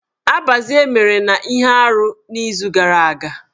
Abazie mere na ihe arụ n'izu gara aga.